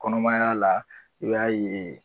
Kɔnɔmaya la i b'a ye